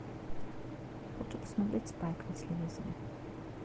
хочу посмотреть спайк на телевизоре